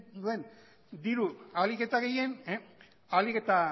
duen diru ahalik eta gehien ahalik eta